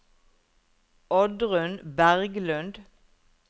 Oddrun Berglund